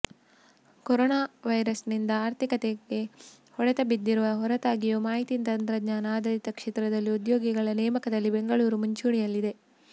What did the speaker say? corona ವೈರಸ್ನಿಂದ ಆರ್ಥಿಕತೆಗೆ ಹೊಡೆತ ಬಿದ್ದಿರುವ ಹೊರತಾಗಿಯೂ ಮಾಹಿತಿ ತಂತ್ರಜ್ಞಾನ ಆಧಾರಿತ ಕ್ಷೇತ್ರದಲ್ಲಿ ಉದ್ಯೋಗಿಗಳ ನೇಮಕದಲ್ಲಿ ಬೆಂಗಳೂರು ಮುಂಚೂಣಿಯಲ್ಲಿದೆ